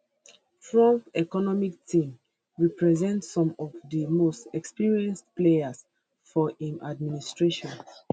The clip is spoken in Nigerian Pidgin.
trump economic team represent some of di most experienced players for im administration